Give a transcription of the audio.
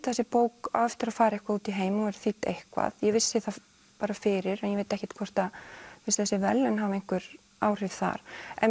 þessi bók á eftir að fara út í heim og verður þýdd eitthvað ég vissi það fyrir en ég veit ekkert hvort þessi verðlaun hafa einhver áhrif þar en